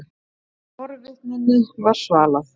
Forvitninni var svalað.